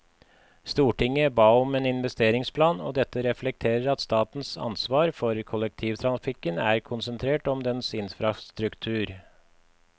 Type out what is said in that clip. Stortinget ba om en investeringsplan, og dette reflekterer at statens ansvar for kollektivtrafikken er konsentrert om dens infrastruktur.